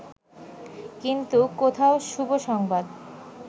কিন্তু কোথায় শুভ সংবাদ